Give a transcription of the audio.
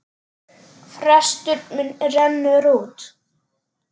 Frestur minn rennur út.